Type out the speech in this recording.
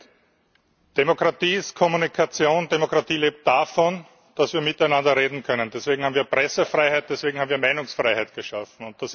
Herr Präsident! Demokratie ist Kommunikation. Demokratie lebt davon, dass wir miteinander reden können. Deswegen haben wir Pressefreiheit, deswegen haben wir Meinungsfreiheit geschaffen.